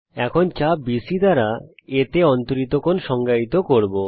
এখন চাপ BC এর দ্বারা A তে অন্তরিত কোণ সংজ্ঞায়িত করব